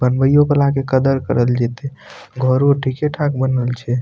बनवाइयो के लाके कदर करल जाइथी घरो ठीके-ठाक बनवल छै।